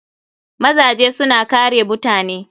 Mazaje suna kare mutane.